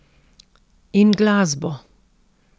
In glasbo!